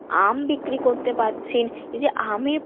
আম বিক্রি করতে পারছেন এইযে আমে